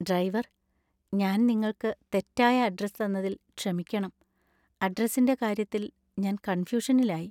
Driver! ഞാൻ നിങ്ങൾക്ക് തെറ്റായ അഡ്രസ്സ് തന്നതില്‍ ക്ഷമിക്കണം. അഡ്രസ്സിന്‍റെ കാര്യത്തില്‍ ഞാൻ കൺഫ്യൂഷനിലായി .